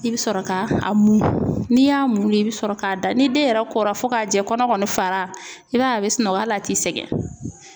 I bɛ sɔrɔ ka a mun n'i y'a mun de i bɛ sɔrɔ k'a da ni den yɛrɛ kora fo k'a jɛ kɔnɔ kɔni fara i b'a ye a bɛ sunɔgɔ hali a t'i sɛgɛn.